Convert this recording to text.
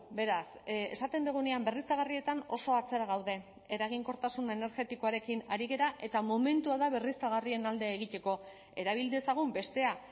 beraz esaten dugunean berriztagarrietan oso atzera gaude eraginkortasun energetikoarekin ari gara eta momentua da berriztagarrien alde egiteko erabil dezagun bestea